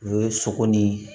U ye sogo ni